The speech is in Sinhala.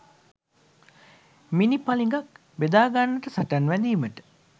මිණිපළඟක් බෙදාගන්නට සටන් වැදීමට